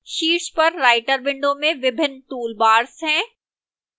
शीर्ष पर writer window में विभिन्न toolbars हैं